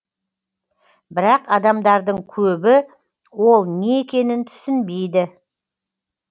бірақ адамдардың көбі ол не екенін түсінбейді